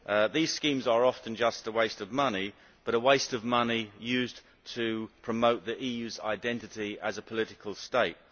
These schemes are often just a waste of money, but a waste of money used to promote the EU's identity as a political state.